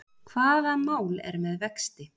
Hvaða mál er með vexti?